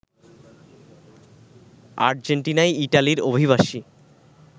আর্জেন্টিনায় ইটালির অভিবাসী